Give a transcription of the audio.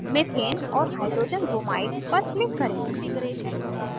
methane ch4 और hydrogenbromide hbr पर click करें